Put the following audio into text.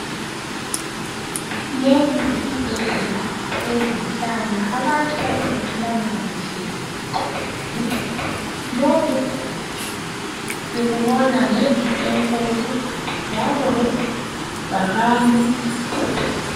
lesi yisibhedlela sezinhlanya abantu abangaphilanaga kuhle enqondweni lokhu sikubona ngendlu enkulu njalo lebhakane